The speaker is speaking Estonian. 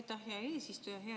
Aitäh, hea eesistuja!